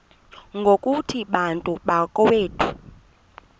ngokuthi bantu bakowethu